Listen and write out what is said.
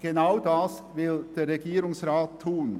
Genau das will der Regierungsrat tun.